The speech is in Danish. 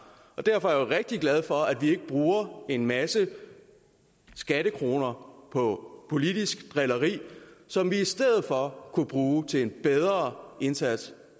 og derfor jo rigtig glad for at vi ikke bruger en masse skattekroner på politisk drilleri som vi i stedet for kunne bruge til en bedre indsats